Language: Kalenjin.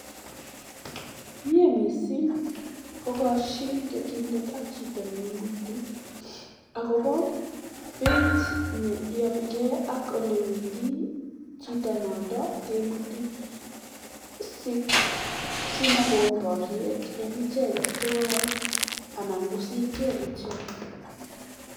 miee missing kokashin piik ak chito neketindeet akomagat kokshin ak piik cheketee